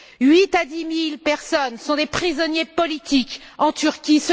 Huit à dix mille personnes sont des prisonniers politiques en Turquie.